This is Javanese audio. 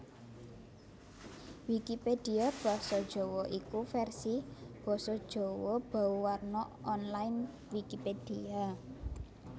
Wikipedia basa Jawa iku vèrsi basa Jawa bauwarna online Wikipedia